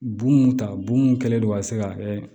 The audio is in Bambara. Bon mun ta bon mun kɛlen don ka se ka